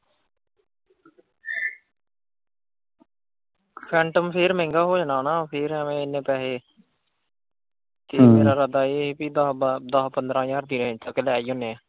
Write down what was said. ਸੈਟਮ ਫਿਰ ਮਹਿੰਗਾ ਹੋ ਜਾਣਾ ਨਾ ਫਿਰ ਐਵੇਂ ਇੰਨੇ ਪੈਹੇ ਕੀ ਮੇਰਾ ਇਰਾਦਾ ਇਹ ਕਿ ਦਸ ਪੰਦਰਾਂ ਹਜ਼ਾਰ ਦੀ ਲੈ ਹੀ ਜਾਨੇ ਆ।